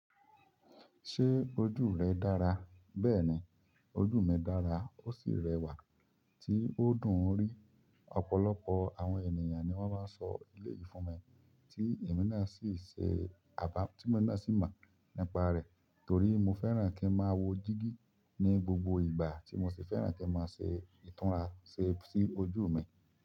Ṣé ojú rẹ dára? Bẹ́ẹ̀ni, ojú mi dára ó sì rẹwà tí ó dùn ún rí. Ọ̀pọ̀lọpọ̀ àwọn ènìyàn ni wọ́n máa ń sọ elé yìí fún mi, tí èmi náà sì ṣe àbá, tí mo náà sì mọ̀ nípa rẹ̀. Torí mo fẹ́ràn kí n máa wo dígí ní gbogbo ìgbà tí mo sì fẹ́ràn kí n máa ṣe ìtúnra ṣe sí ojú mi.